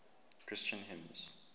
christian hymns